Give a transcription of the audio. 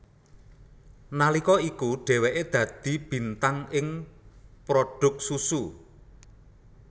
Nalika iku dheweke dadi bintang ing prodhuk susu